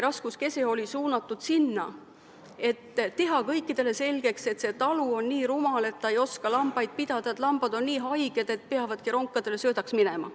Raskuskese oli suunatud sinna, et teha kõikidele selgeks, et see talu on nii rumal, et nad ei oska lambaid pidada, et lambad on nii haiged, et peavadki ronkadele söödaks minema.